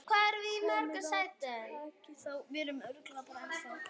Komiði og takið þá!